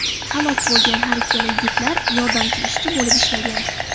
Halok bo‘lgan har ikkala yigitlar yordamchi ishchi bo‘lib ishlagan.